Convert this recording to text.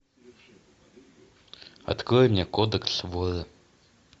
открой мне кодекс вора